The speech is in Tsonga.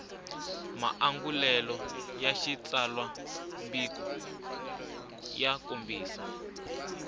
maangulelo ya xitsalwambiko ya kombisa